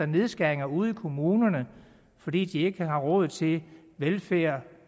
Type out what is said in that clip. nedskæringer ude i kommunerne så de de ikke har råd til velfærd